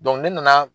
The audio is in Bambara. ne nana